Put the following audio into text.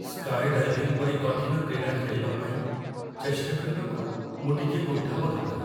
Sky diving ପରି କଠିନ କ୍ରୀଡ଼ା ଖେଳିବା ପାଇଁ ଚେଷ୍ଟା କରିବାକୁ ମୁଁ ଟିକିଏ କୁଣ୍ଠାବୋଧ କରେ।